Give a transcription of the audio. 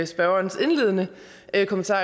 spørgerens indledende kommentar